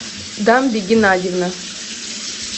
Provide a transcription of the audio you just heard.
дамби геннадьевна